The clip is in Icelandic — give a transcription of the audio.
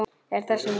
Er þess von?